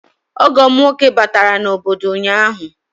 Ọgọ m nwoke batara n'obodo ụnyahụ